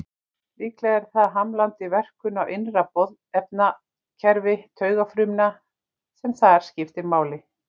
Líklega er það hamlandi verkun á innra boðefnakerfi taugafrumna sem þar skiptir máli.